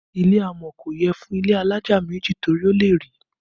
Ilẹ̀ amọ̀ kò yẹ fún ilé alájà méjì torí ó lè rì